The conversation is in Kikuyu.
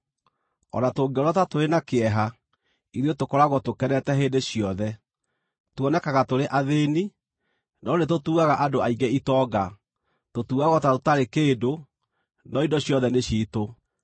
o na tũngĩonwo ta tũrĩ na kĩeha, ithuĩ tũkoragwo tũkenete hĩndĩ ciothe; tuonekaga tũrĩ athĩĩni, no nĩtũtuaga andũ aingĩ itonga; tũtuagwo ta tũtarĩ kĩndũ, no indo ciothe nĩ ciitũ.